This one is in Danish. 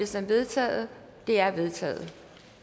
som vedtaget det er vedtaget